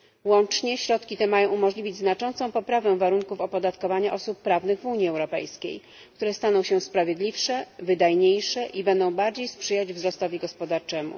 Łącznie środki te mają umożliwić znaczącą poprawę warunków opodatkowania osób prawnych w Unii Europejskiej, które staną się sprawiedliwsze, wydajniejsze i będą bardziej sprzyjać wzrostowi gospodarczemu.